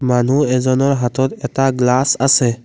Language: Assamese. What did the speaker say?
মানুহ এজনৰ হাতত এটা গ্লাচ আছে।